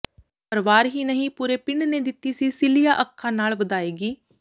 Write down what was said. ਪਰਿਵਾਰ ਹੀ ਨਹੀਂ ਪੂਰੇ ਪਿੰਡ ਨੇ ਦਿੱਤੀ ਸੀ ਸਿੱਲੀਆਂ ਅੱਖਾ ਨਾਲ ਵਿਦਾਇਗੀ